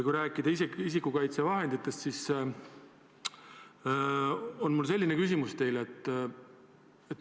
Kui rääkida isikukaitsevahenditest, siis on mul teile selline küsimus.